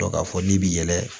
Dɔ k'a fɔ n'i bɛ yɛlɛn